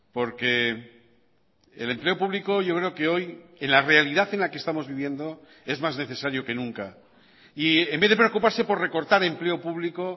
porque el empleo público yo creo que hoy en la realidad en la que estamos viviendo es más necesario que nunca y en vez de preocuparse por recortar empleo público